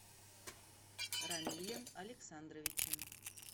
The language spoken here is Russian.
рамилем александровичем